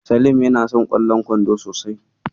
Salim yana son ƙwallon kwando sosai.